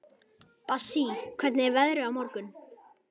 Bassí, hvernig er veðrið á morgun?